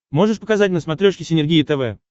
можешь показать на смотрешке синергия тв